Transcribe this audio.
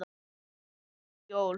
og eftir jól.